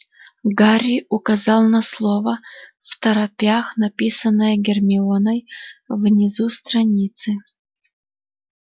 гарри указал на слово второпях написанное гермионой внизу страницы